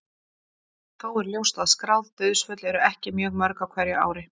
Þó er ljóst að skráð dauðsföll eru ekki mjög mörg á hverju ári.